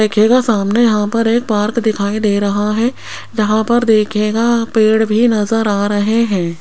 देखिएगा सामने यहां पर एक पार्क दिखाई दे रहा है जहां पर देखिएगा पेड़ भी नजर आ रहे हैं।